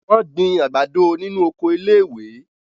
Wọ́n gbin àgbàdo nínu oko iléèwé